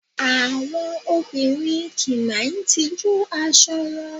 Àwọn òbinrín ki n máà tijú aṣọ wọn